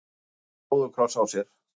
stóran róðukross á sér.